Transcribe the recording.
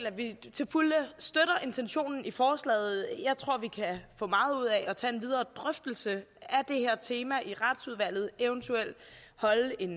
at vi til fulde støtter intentionen i forslaget jeg tror vi kan få meget ud af at tage en videre drøftelse af det her tema i retsudvalget eventuelt holde en